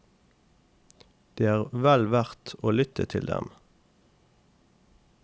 Det er vel verdt å lytte til dem.